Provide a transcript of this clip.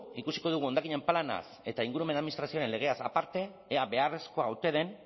ikusiko dugu hondakinen planaz eta ingurumen administrazioaren legeaz aparte ea beharrezkoa ote den